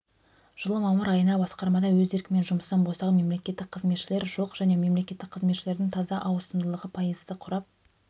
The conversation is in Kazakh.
жылы мамыр айына басқармада өз еркімен жұмыстан босаған мемлекеттік қызметшілер жоқ және мемлекеттік қызметшілердің таза ауысымдылығы пайызды құрап